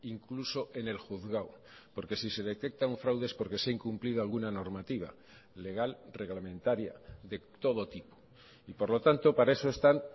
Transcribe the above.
incluso en el juzgado porque si se detecta un fraude es porque se ha incumplido alguna normativa legal reglamentaria de todo tipo y por lo tanto para eso están